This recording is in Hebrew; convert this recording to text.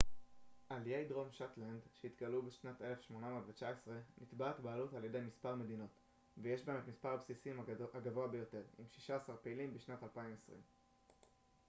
על איי דרום שטלנד שהתגלו בשנת 1819 נתבעת בעלות על ידי מספר מדינות ויש בהם את מספר הבסיסים הגבוה ביותר עם שישה עשר פעילים בשנת 2020